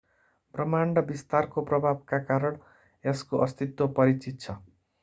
ब्रह्माण्डको विस्तारको प्रभावका कारण यसको अस्तित्व परिचित छ